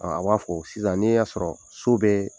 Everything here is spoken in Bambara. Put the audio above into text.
Ɔ a b'a fɔ sisan n'i y'a sɔrɔ so bɛ